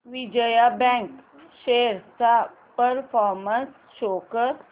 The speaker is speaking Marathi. विजया बँक शेअर्स चा परफॉर्मन्स शो कर